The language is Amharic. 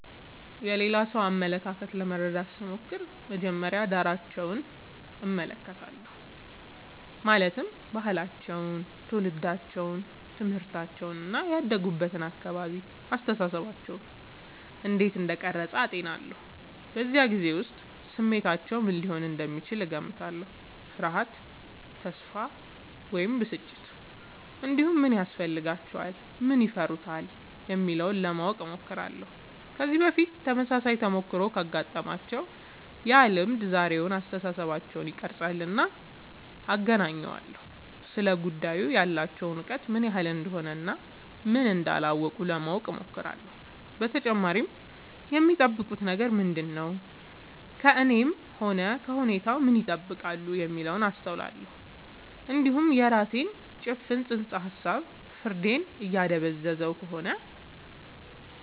የሌላ ሰው አመለካከት ለመረዳት ስሞክር መጀመሪያ ዳራቸውን እመለከታለሁ ማለትም ባህላቸው ትውልዳቸው ትምህርታቸው እና ያደጉበት አካባቢ አስተሳሰባቸውን እንዴት እንደቀረጸ አጤናለሁ በዚያ ጊዜ ውስጥ ስሜታቸው ምን ሊሆን እንደሚችል እገምታለሁ ፍርሃት ተስፋ ወይም ብስጭት እንዲሁም ምን ያስፈልጋቸዋል ምን ይፈሩታል የሚለውን ለማወቅ እሞክራለሁ ከዚህ በፊት ተመሳሳይ ተሞክሮ ካጋጠማቸው ያ ልምድ ዛሬውን አስተሳሰባቸውን ይቀርፃልና አገናኘዋለሁ ስለ ጉዳዩ ያላቸው እውቀት ምን ያህል እንደሆነ እና ምን እንዳላወቁ ለማወቅ እሞክራለሁ በተጨማሪም የሚጠብቁት ነገር ምንድነው ከእኔም ሆነ ከሁኔታው ምን ይጠብቃሉ የሚለውን አስተውላለሁ እንዲሁም የራሴ ጭፍን ጽንሰ ሀሳብ ፍርዴን እያደበዘዘ ከሆነ